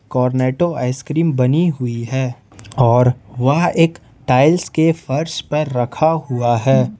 Cornetto ice cream बनी हुई है और वह एक टाइल्स के फर्श पर रखा हुआ है।